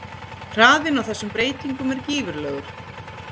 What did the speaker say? Hraðinn á þessum breytingum er gífurlegur.